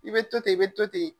I be to ten i be to ten